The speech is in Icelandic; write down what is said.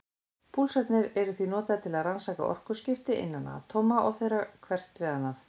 Púlsarnir eru því notaðir til að rannsaka orkuskipti innan atóma og þeirra hvers við annað.